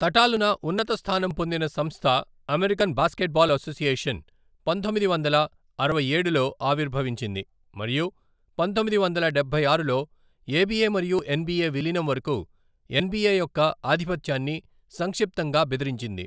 తటాలున ఉన్నతస్థానం పొందిన సంస్థ, అమెరికన్ బాస్కెట్బాల్ అసోసియేషన్ పంతొమ్మిది వందల అరవైఏడులో ఆవిర్భవించింది మరియు పంతొమ్మిది వందల డబ్బై ఆరులో ఏబీఎ మరియు ఎన్బిఏ విలీనం వరకు ఎన్బీఏ యొక్క ఆధిపత్యాన్ని సంక్షిప్తంగా బెదిరించింది.